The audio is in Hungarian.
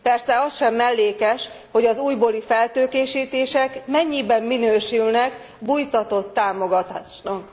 Persze az sem mellékes, hogy az újbóli feltőkésítések mennyiben minősülnek bújtatott támogatásnak.